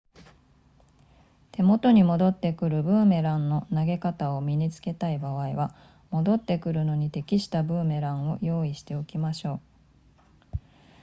手元に戻ってくるブーメランの投げ方を身につけたい場合は戻ってくるのに適したブーメランを用意しておきましょう